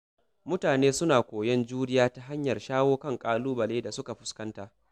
Mutane suna koyon juriya ta hanyar shawo kan ƙalubale da suka fuskanta.